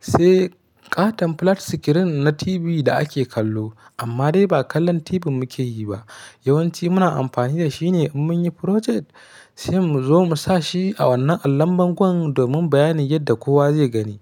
sai ƙaton flat screen na TV da ake kallo. Amma dai ba kallon TV muke yi ba, yawanci muna amfani da shi ne in mun yi project, sai mu zo mu sa shi a wannan allon bangon domin bayanin yadda kowa zai gani.